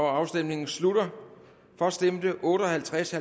afstemningen slutter for stemte otte og halvtreds og